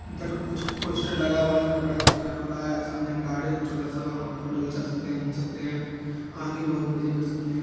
इधर कुछ पोस्टर लगा हुआ है कपड़ा का प्रचार हो सामने गार्डन है छोटा-सा वहां फोटो घीचा सकते है घूम सकते है आके बोहोत मजे कर सकते है।